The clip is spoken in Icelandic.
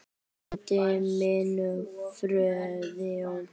Frændi minn, Friðjón